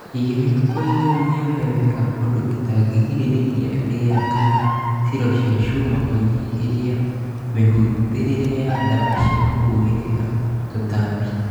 Cige mĩhukoinĩ mĩohe wega ũndũ ĩtangĩingĩlia rĩera kana silo cia shuma kũnyihĩria mĩhũthĩrĩre ya dawa cia kũhuhĩla tũtambi